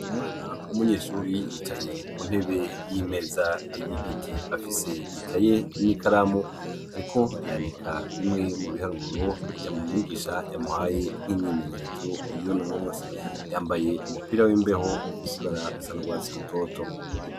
Umwana w'umunyeshure yicaye ku ntebe y'imeza y'igiti afise ikaye n'ikaramu ariko yandika bimwe mu biharuro mwigisha yamuhaye nk'imyimenyerezo y'uno umunsi. Yambaye umupira w'imbeho ufise ibara risa n'urwatsi rutoto.